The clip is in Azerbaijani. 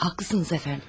Haqlısınız əfəndim.